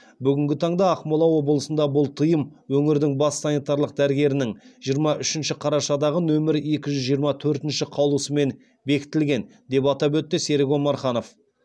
бүгінгі таңда ақмола облысында бұл тыйым өңірдің бас санитарлық дәрігерінің жиырма үшінші қарашадағы нөмірі екі жүз жиырма төрт қаулысымен бекітілген деп атап өтті серік омарханов